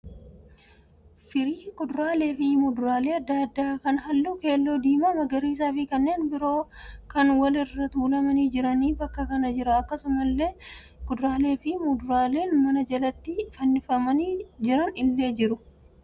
Firii kuduraalee fi muduraalee adda addaa kan halluu keelloo, diimaa, magariisa fi kanneen biroo kan wal irra tuulamanii jirantu bakka kana jira. Akkasumallee kuduraalee fi muduraaleen mana jalatti fannifamanii jiran illee jiru.